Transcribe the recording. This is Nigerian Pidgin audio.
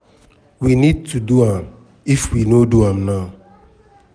we need to do am if we no do am now